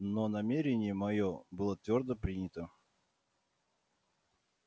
но намерение моё было твёрдо принято